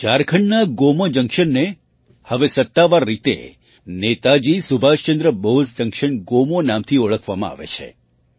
ઝારખંડના ગોમો જંક્શનને હવે સત્તાવાર રીતે નેતાજી સુભાષચંદ્ર બોઝ જંક્શન ગોમોના નામથી ઓળખવામાં આવે છે